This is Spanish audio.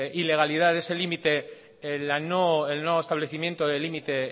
ilegalidad ese límite el no establecimiento de límite